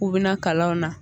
K'u bina kalanw na